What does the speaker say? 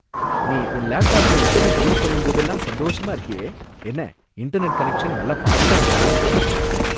நீ உன் லேப்டாப்ல இன்டெர்நெட்ட யூஸ் பண்ணும் போதெல்லாம் சந்தோஷமா இருக்கியே! என்ன, இன்டெர்நெட் கனெக்ஷன் நல்லா ஃபாஸ்டா இருக்கா!